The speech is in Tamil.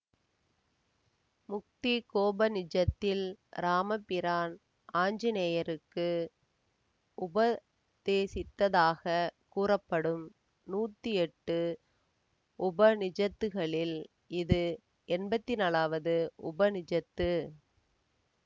முக்திகோபநிஷத்தில் ராமபிரான் ஆஞ்சனேயருக்கு உப தேசித்ததாகக் கூறப்படும் நூத்தி எட்டு உபநிஷத்துக்களில் இது எம்பத்தி நாழாவது உபநிஷத்து